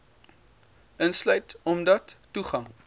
insluit omdat toegang